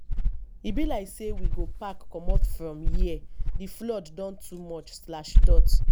e be like sey we go pack comot from here di flood don too much.